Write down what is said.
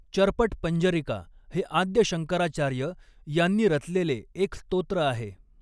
चर्पटपञ्जरिका हे आद्य शंकराचार्य यांनी रचलेले एक स्तोत्र आहे.